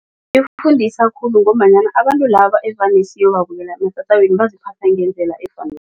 Ifundisa khulu ngombanyana abantu laba evane siyobabukela ematatawini baziphatha ngendlela